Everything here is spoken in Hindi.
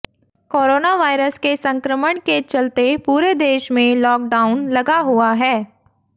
कोरोना वायरस के संक्रमण के चलते पूरे देश में लॉकडाउन लगा हुआ है